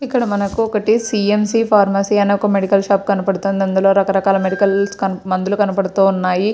ఇక్కడ మనకు ఒకటి సి_ఎం_సి ఫార్మసీ అని ఒక మెడికల్ షాప్ కనబడుతుంది. అందులో రకరకాల మెడికల్స్ మందులు కనబడుతూ ఉన్నాయి.